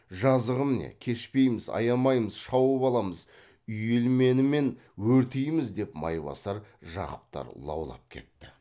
жазығым не кешпейміз аямаймыз шауып аламыз үйелменімен өртейміз деп майбасар жақыптар лаулап кетті